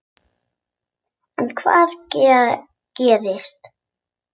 En hvað gerist.